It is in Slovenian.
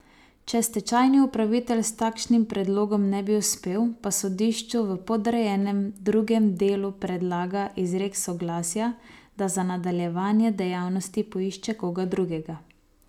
Če stečajni upravitelj s takšnim predlogom ne bi uspel, pa sodišču v podrejenem drugem delu predlaga izrek soglasja, da za nadaljevanje dejavnosti poišče koga drugega.